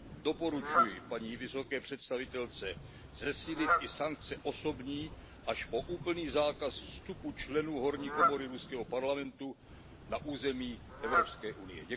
Doporučuju paní vysoké představitelce zesílit i sankce osobní, až po úplný zákaz vstupu členů horní komory ruského parlamentu na území Evropské unie.